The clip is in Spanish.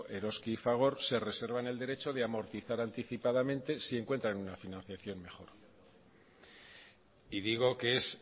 eroski y fagor se reservan el derecho de amortizar anticipadamente si encuentran una financiación mejor y digo que es